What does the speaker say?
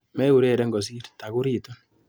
Meureren kosir, takuriitu.